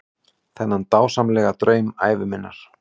Þennan dásamlegasta draum ævi minnar.